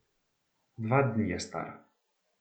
Dva dni je star.